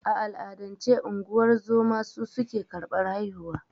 A al'adance, unguwar zoma su suke karɓar haihuwa.